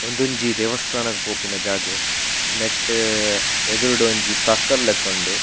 ಉಂದೊಂಜಿ ದೇವಸ್ಥಾನಗ್ ಪೋಪಿನ ಜಾಗೆ ನೆಟ್ಟ್ ಎದುರುಡೊಂಜಿ ಸರ್ಕಲ್ ಲೆಕ್ಕ ಉಂಡು.